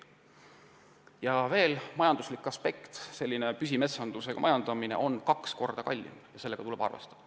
Lisaks on veel majanduslik aspekt: püsimetsana majandamine on kuni kaks korda kallim ja sellega tuleb arvestada.